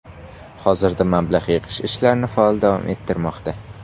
Hozirda mablag‘ yig‘ish ishlarini faol davom ettirmoqda.